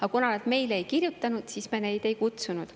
Aga kuna nad meile ei kirjutanud, siis me neid ei kutsunud.